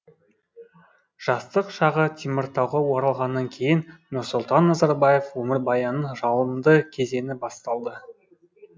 жастық шағы теміртауға оралғаннан кейін нұрсұлтан назарбаев өмірбаянының жалынды кезеңі басталды